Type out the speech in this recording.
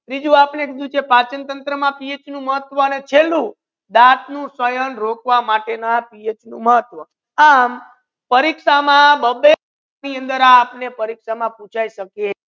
ત્રિજુ પાચનતંત્રમાં પીએચનું મહત્ત્વ એને ચેલુ છે દાંતનું ક્ષયન રોકવામાં PH નું મહત્ત્વ આમ પરિક્ષા મા બે બે marks